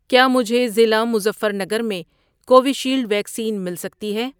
کیا مجھے ضلع مظفر نگر میں کووِشیلڈ ویکسین مل سکتی ہے؟.